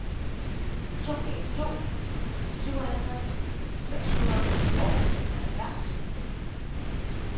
to en to to syvoghalvtreds seks hundrede og tooghalvfjerds